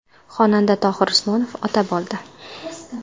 Xonanda Tohir Usmonov ota bo‘ldi.